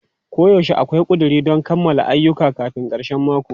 Koyaushe akwai ƙuduri don kammala ayyuka kafin karshen mako.